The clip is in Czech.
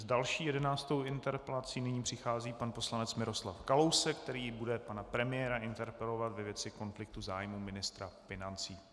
S další, jedenáctou interpelací nyní přichází pan poslanec Miroslav Kalousek, který bude pana premiéra interpelovat ve věci konfliktu zájmů ministra financí.